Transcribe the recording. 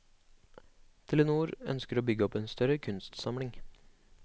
Telenor ønsker å bygge opp en større kunstsamling.